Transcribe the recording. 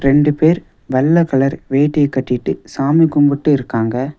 ரெண்டு பேர் வெள்ள கலர் வேட்டிய கட்டிட்டு சாமி கும்புட்டு இருக்காங்க.